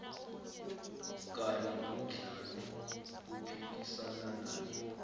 kanye nomdlali aphikisana naye